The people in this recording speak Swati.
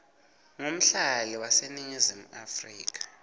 ngumhlali waseningizimu afrika